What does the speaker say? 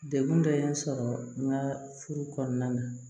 Degun dɔ ye n sɔrɔ n ka furu kɔnɔna na